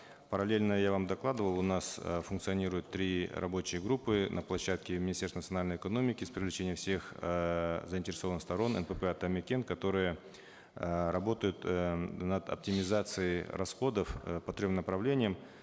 параллельно я вам докладывал у нас э функционируют три рабочие группы на площадке министерства национальной экономики с привлечением всех э заинтересованных сторон нпп атамекен которые э работают э над оптимизацией расходов э по трем направлениям